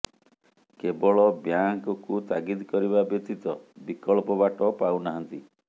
କେବଳ ବ୍ୟାଙ୍କକୁ ତାଗିଦ୍ କରିବା ବ୍ୟତୀତ ବିକଳ୍ପ ବାଟ ପାଉ ନାହାନ୍ତି